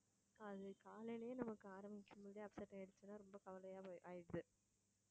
அது காலைலயே நமக்கு ஆரம்பிக்கும்போதே upset ஆயிடுச்சின்னா ரொம்ப கவலையா போய்~ ஆயிடுது